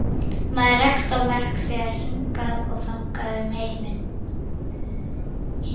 Maður rekst á verk þeirra hingað og þangað um heiminn.